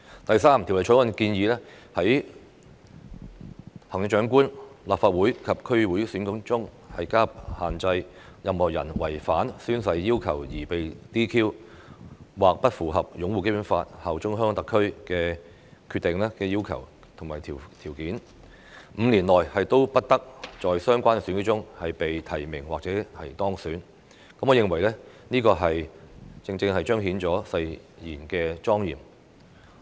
第三，《條例草案》建議在行政長官、立法會及區議會選舉中加入限制，任何人違反宣誓要求而被 "DQ"， 或不符合擁護《基本法》、效忠香港特區的要求和條件 ，5 年內不得在相關選舉中被提名或當選，我認為這正正是彰顯誓言的莊嚴。